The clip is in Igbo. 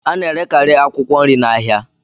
A na-erekarị akwụkwọ nri na ahịa